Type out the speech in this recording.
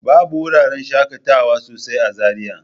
Babu wuraran shaƙatawa sosai a Zariya.